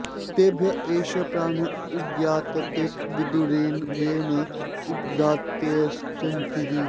तेभ्य एष प्राण उदगायत् ते विदुरनेन वै न उद्गात्राऽत्येष्यन्तीति